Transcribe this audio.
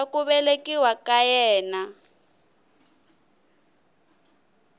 ra ku velekiwa ka yena